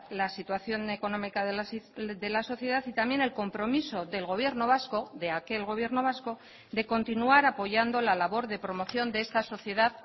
la situación económica de la sociedad y también el compromiso del gobierno vasco de aquel gobierno vasco de continuar apoyando la labor de promoción de esta sociedad